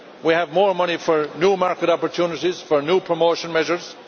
We have more money for new market opportunities, for new promotion measures